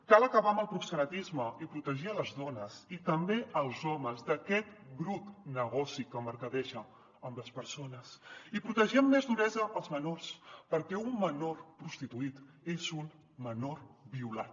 cal acabar amb el proxenetisme i protegir les dones i també els homes d’aquest brut negoci que mercadeja amb les persones i protegir amb més duresa els menors perquè un menor prostituït és un menor violat